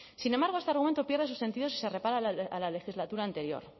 sin embargo este argumento pierde su sentido si se repara a la legislatura anterior